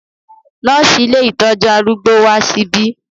Nọ́ọ̀sì ilé ìtọ́jú arúgbó wá síbí.